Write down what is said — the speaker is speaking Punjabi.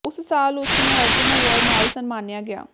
ਉਸ ਸਾਲ ਉਸ ਨੂੰ ਅਰਜੁਨ ਐਵਾਰਡ ਨਾਲ ਸਨਮਾਨਿਆ ਗਿਆ